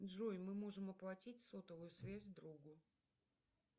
джой мы можем оплатить сотовую связь другу